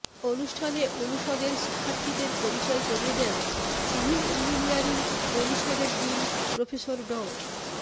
অনুষ্ঠানে অনুষদের শিক্ষার্থীদের পরিচয় করিয়ে দেন সিভিল ইঞ্জিনিয়ারিং অনুষদের ডিন প্রফেসর ড